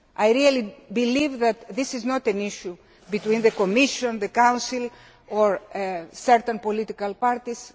I really believe that this is not an issue between the Commission, the Council or certain political parties